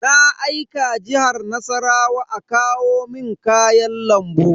Na aika Jihar Nassarawa a kawo mun kayan lambu.